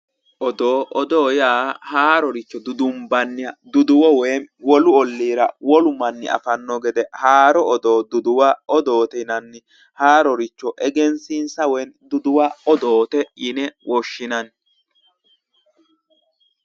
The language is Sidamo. odoo yaa haaroricho dudunbanniha duduwo woyi wolu olliiha wolu manni afanno gede haaro duduwo odoote yinanni haaroricho egensiisa woyi duduwa odoote yine woshshinanni